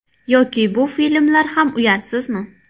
Yoki bu filmlar ham uyatsizmi?